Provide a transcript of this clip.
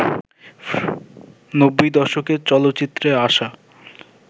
নব্বই দশকে চলচ্চিত্রে আসা